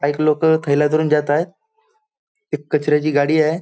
काहीक लोक थैल्या धरून जात आहेत एक कचऱ्याची गाडी आहे.